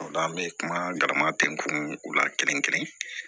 O la an bɛ kuma garama bɛn kun la kelen kelen